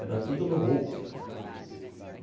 Era tudo no muque.